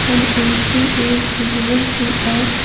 an AC is visible to us.